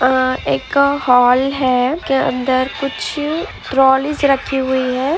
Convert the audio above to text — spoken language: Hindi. आ एक हाल है के अंदर कुछ ट्रोलियस रखी हुई है।